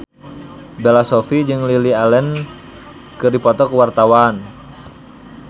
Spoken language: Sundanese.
Bella Shofie jeung Lily Allen keur dipoto ku wartawan